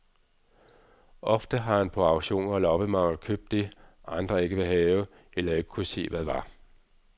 Ofte har han på auktioner og loppemarkeder købt det, andre ikke ville have, eller ikke kunne se hvad var.